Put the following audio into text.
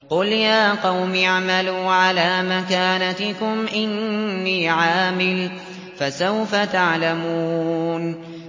قُلْ يَا قَوْمِ اعْمَلُوا عَلَىٰ مَكَانَتِكُمْ إِنِّي عَامِلٌ ۖ فَسَوْفَ تَعْلَمُونَ